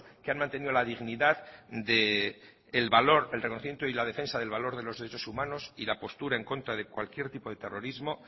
que han mantenido la dignidad del valor el reconocimiento y la defensa del valor de los derechos humanos y la postura en contra de cualquier tipo de terrorismo